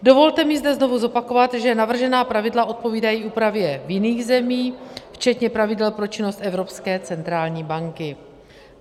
Dovolte mi zde znovu zopakovat, že navržená pravidla odpovídají úpravě v jiných zemích, včetně pravidel pro činnost Evropské centrální banky.